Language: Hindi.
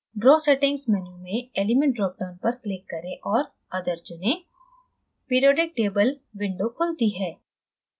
draw settings menu में element drop down पर click करें और other चुनें